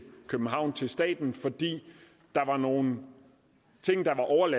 københavn til staten fordi nogle